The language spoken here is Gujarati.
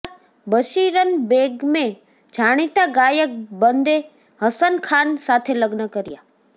ત્યારબાદ માતા બશીરન બેગમે જાણિતા ગાયક બંદે હસન ખાન સાથે લગ્ન કર્યાં